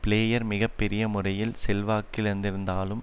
player மிக பெரிய முறையில் செல்வாக்கு இழந்திருந்தாலும்